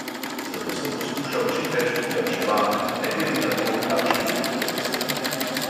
Zato sem poskušal čim več privarčevati, ne glede na to, kakšne prihodke sem imel.